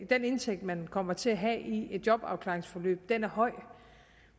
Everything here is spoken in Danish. den indtægt man kommer til at have i et jobafklaringsforløb er høj